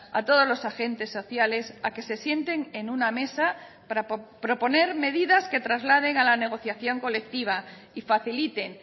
a todos los agentes sociales a que se sienten en una mesa para proponer medidas que trasladen a la negociación colectiva y faciliten